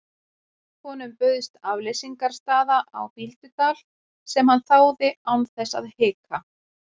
Honum bauðst afleysingarstaða á Bíldudal sem hann þáði án þess að hika.